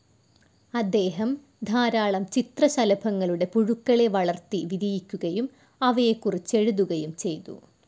അദ്ദേഹം ധാരാളം ചിത്രശലഭങ്ങളുടെ പുഴുക്കളെ വളർത്തി വിരിയിക്കുകയും അവയെക്കുറിച്ചെഴുതുകയും ചെയ്തു.